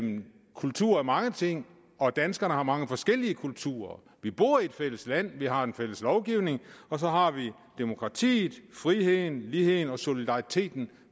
kultur er mange ting og at danskerne har mange forskellige kulturer vi bor i et fælles land vi har en fælles lovgivning og så har vi demokratiet friheden ligheden og solidariteten